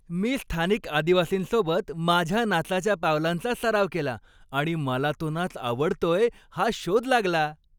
मी स्थानिक आदिवासींसोबत माझ्या नाचाच्या पावलांचा सराव केला आणि मला तो नाच आवडतोय हा शोध लागला.